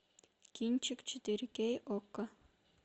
кинчик четыре кей окко